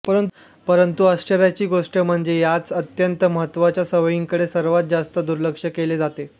परंतु आश्चर्याची गोष्ट म्हणजे याच अत्यंत महत्वाच्या सवयींकडे सर्वात जास्त दुर्लक्ष केले जाते